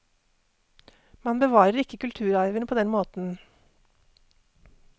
Man bevarer ikke kulturarven på den måten.